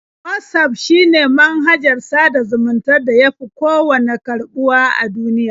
Watsaf shine manhajar sada zumuntar da ya fi kowanne karɓuwa a duniya.